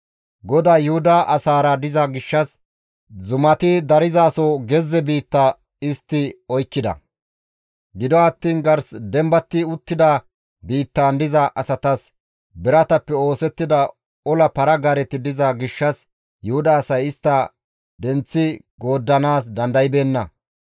GODAY Yuhuda asaara diza gishshas, zumati darzaaso gezze biitta istti oykkida; gido attiin gars dembati uttida biittan diza asatas biratappe oosettida ola para-gaareti diza gishshas, Yuhuda asay istta denththi gooddanaas dandaybeenna.